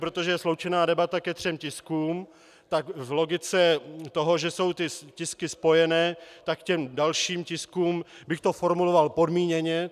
Protože je sloučená debata ke třem tiskům, tak v logice toho, že jsou ty tisky spojené, tak k těm dalším tiskům bych to formuloval podmíněně.